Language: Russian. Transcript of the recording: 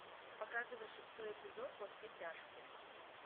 показывай шестой эпизод во все тяжкие